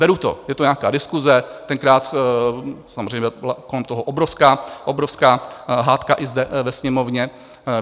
Beru to, je to nějaká diskuse, tenkrát samozřejmě byla kolem toho obrovská hádka i zde ve Sněmovně.